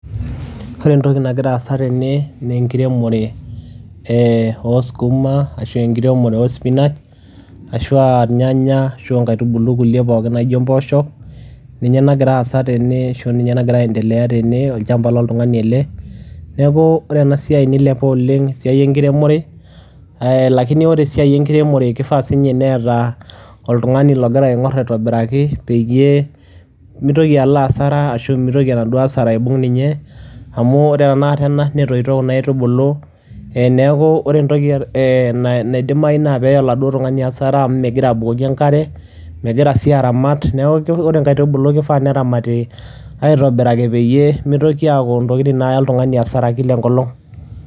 Ore entoki nagira aasa tene nee enkiremore ee oo sukuma ashu enkiremore oo spinach, ashu aa irnyanya ashu aa inkatubulu kulie pookin naijo impooshok, ninye nagira aasa tene ashu ninye nagira aendelea tene, olchamba loltung'ani ele. Neeku ore ena siai nilepa oleng' esiai enkiremore ee lakini ore esiai enkiremore kifaa siinye neeta oltung'ani logira aing'or aitobiraki peyie mitoki alo hasara ashu mitoki enaduo hasara aibung' ninye amu ore tenakata ena netoito kuna aitubulu. Ee neeku ore entoki ee na naidimayu naa peeya oladuo tung'ani hasara amu megira abukoki enkare, megira sii aramat. Neeku ore inkaitubulu kifaa neramati aitobiraki peyie mitoki aaku intokitin naaya oltung'ani hasara kila enkolong'.